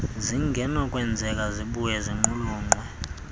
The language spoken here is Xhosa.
zingenakwenzeka zibuye ziqulunqwe